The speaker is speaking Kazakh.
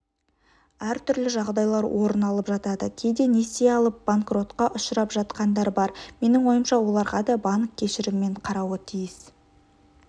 әртүрлі жағдайлар орын алып жатады кейде несие алып банкротқа ұшырап жатқандар бар менің ойымша оларға да банк кешіріммен қарауы тиіс